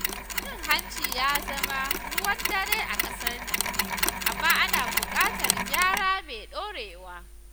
Cin hanci ya zama ruwan dare a ƙasar nan, amma ana bukatar gyara mai dorewa.